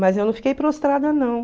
Mas eu não fiquei prostrada, não.